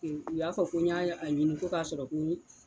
U y'a fɔ ko n y'a ɲini ko k'a sɔrɔ ko